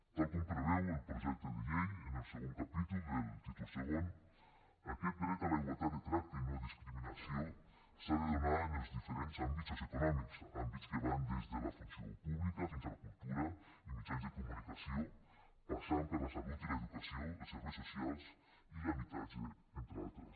tal com preveu el projecte de llei en el segon capítol del títol segon aquest dret a la igualtat de tracte i no discriminació s’ha de donar en els diferents àmbits socioeconòmics àmbits que van des de la funció pública fins a la cultura i mitjans de comunicació passant per la salut i l’educació els serveis socials i l’habitatge entre d’altres